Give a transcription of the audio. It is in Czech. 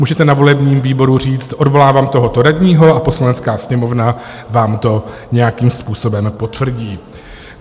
Můžete na volebním výboru říct "odvolávám tohoto radního" a Poslanecká sněmovna vám to nějakým způsobem potvrdí.